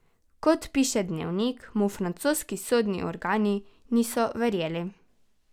Kot piše Dnevnik, mu francoski sodni organi niso verjeli.